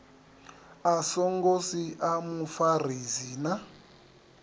a songo sia mufarisi na